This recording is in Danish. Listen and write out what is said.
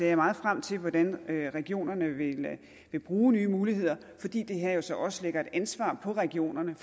jeg meget frem til hvordan regionerne vil vil bruge nye muligheder fordi det her jo så også lægger et ansvar på regionerne